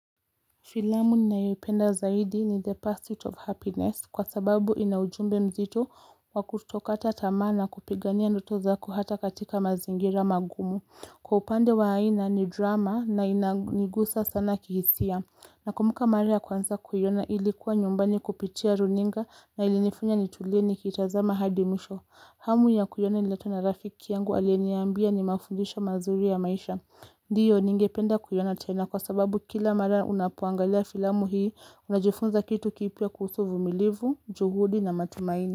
Filamu ninaipenda zaidi ni the pursuit of happiness kwa sababu inaujumbe mzito wakuto kata tamaa na kupigania ndoto zako hata katika mazingira magumu. Kwa upande wa aina ni drama na inaigusa sana kihisia. Na kumbuka mara kwanza kuiona ilikuwa nyumbani kupitia runinga na ilinifanya ni tulie nikitazama hadi mwisho. Hamu ya kuiona ililetwa na rafiki yangu aliyeniambia ni mafundisho mazuri ya maisha. Ndiyo ningependa kuiona tena kwa sababu kila mara unapoangalia filamu hii, Unajifunza kitu kipia kuhusu uvumilivu, juhudi na matumaini.